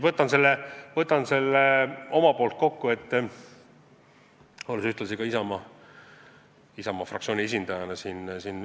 Võtan nüüd selle kõik omalt poolt kokku, olles siin puldis ühtlasi ka Isamaa fraktsiooni esindaja.